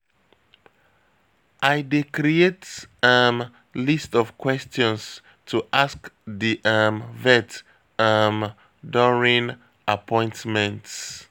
I dey create um list of questions to ask di um vet um during appointments.